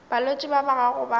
balwetši ba ba gago ba